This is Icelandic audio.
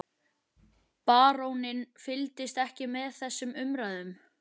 Baróninn fylgdist ekki með þessum umræðum.